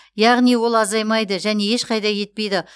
яғни ол азаймайды және ешқайда кетпейді